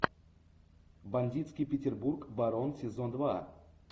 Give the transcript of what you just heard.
бандитский петербург барон сезон два